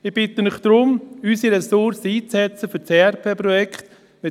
Ich bitte Sie darum, unsere Ressourcen für das ERP-Projekt einzusetzen.